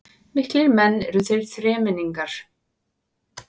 Miklir menn eru þeir þremenningar